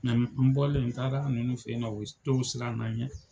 n bɔlen n taara nunnu fe yen nɔ ,dɔw siran na n ɲɛ.